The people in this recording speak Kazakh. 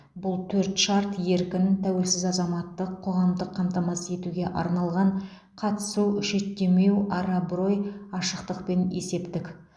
бұл төрт шарт еркін тәуелсіз азаматтық қоғамды қамтамасыз етуге арналған қатысу шеттемеу ар абырой ашықтық пен есептік